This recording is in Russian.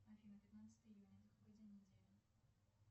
афина пятнадцатое июня это какой день недели